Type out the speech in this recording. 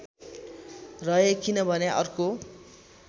रहे किनभने अर्को